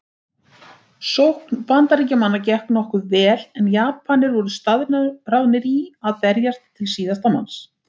Sókn Bandaríkjamanna gekk nokkuð vel en Japanir voru staðráðnir í að berjast til síðasta manns.